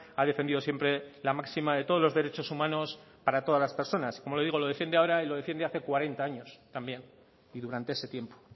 ha defendido siempre la máxima de todos los derechos humanos para todas las personas como le digo lo defiende ahora y lo defiende hace cuarenta años también y durante ese tiempo